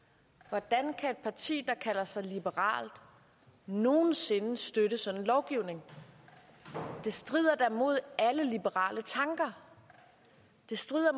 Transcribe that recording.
hvordan kan et parti der kalder sig liberalt nogen sinde støtte sådan en lovgivning det strider da imod alle liberale tanker det strider